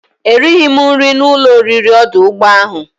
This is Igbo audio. Erighi m nri na ulo oriri odu ugbo ahu.